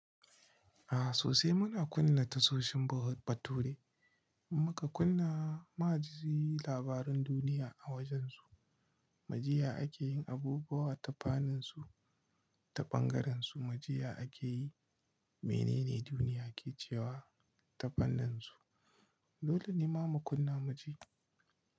A sosai muna kunna tashoshin bature muka kunna maji labaran duniya a wajansu, majiya akeyin abubuwa ta faninsu ta bangarensu, majiya akeyi menene duniya ke cewa ta fanninsu. Dole ne mamu kunna muji.